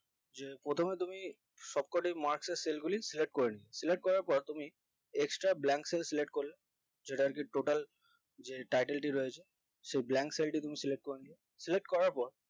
যে প্রথমে তুমি সবকটি marks এর cell গুলি select করে নেবেন select করার পর তুমি extra blank cell select করলে যেটাকে total যে title রয়েছে সে blank cell টি select করে নিয়ও select করার পর